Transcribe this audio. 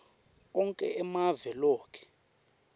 onkhe emave loke